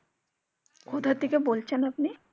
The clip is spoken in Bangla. কোথা থেকে বলছেন আপনি?